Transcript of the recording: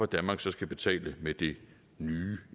danmark skal betale med det nye